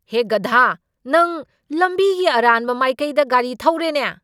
ꯍꯦ, ꯒꯙꯥ꯫ ꯅꯪ ꯂꯝꯕꯤꯒꯤ ꯑꯔꯥꯟꯕ ꯃꯥꯏꯀꯩꯗ ꯒꯥꯔꯤ ꯊꯧꯔꯦꯅꯦ꯫